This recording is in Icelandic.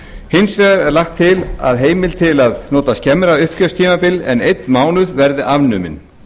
hins vegar er lagt til að heimild til að nota skemmra uppgjörstímabil en einn mánuð verði afnumin